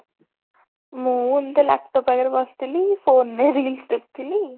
ମୁଁ ଏମିତି laptop ପାଖରେ ବସି ଥିଲି phone ରେ reels ଦେଖୁଥିଲି